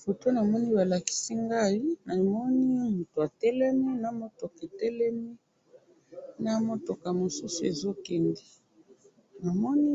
Photo namoni balakisi ngai ,namoni mutu atelemi na mutuka etelemi na mutuka mosusu ezo kende, namoni